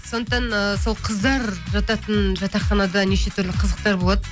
сондықтан ыыы сол қыздар жататын жатақханада неше түрлі қызықтар болады